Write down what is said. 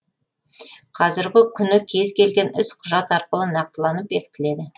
қазіргі күні кез келген іс құжат арқылы нақтыланып бекітіледі